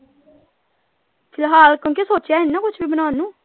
ਫਿਲਹਾਲ ਕਿਉਂਕਿ ਸੋਚਿਆ ਨਹੀਂ ਨਾ ਕੁੱਛ ਵੀ ਬਣਾਉਣ ਨੂੰ।